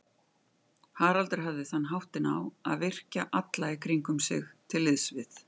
Haraldur hafði þann háttinn á að virkja alla í kringum sig til liðs við